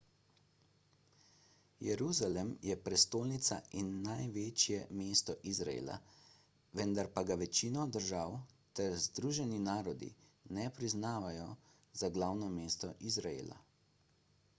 jeruzalem je prestolnica in največje mesto izraela vendar pa ga večina držav ter združeni narodi ne priznavajo za glavno mesto izraela